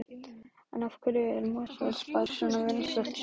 En af hverju er Mosfellsbær svona vinsælt sveitarfélag?